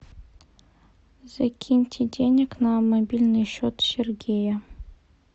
закиньте денег на мобильный счет сергея